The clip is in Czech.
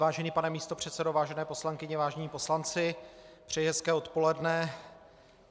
Vážený pane místopředsedo, vážené poslankyně, vážení poslanci, přeji hezké odpoledne.